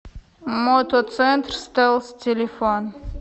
мотоцентр стелс телефон